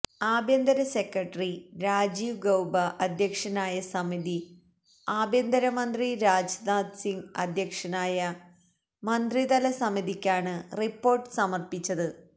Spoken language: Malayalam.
ആഭ്യന്തര സെക്രട്ടറി രാജീവ് ഗൌബ അധ്യക്ഷനായ സമിതി ആഭ്യന്തര മന്ത്രി രാജ്നാഥ് സിങ് അധ്യക്ഷനായ മന്ത്രിതല സമിതിക്കാണ് റിപ്പോർട്ട് സമർപ്പിച്ചത്